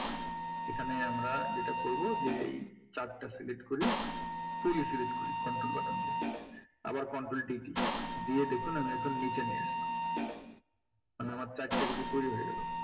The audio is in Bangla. এখানে আমরা যেটা করবো যেই chart টা select করি full select করি control button দিয়ে আবার control D দিয়ে দেখুন আমি একবারে নীচে নিয়ে আসলাম মানে আমার chart টা কিন্তু তৈরি হয়ে গেলো।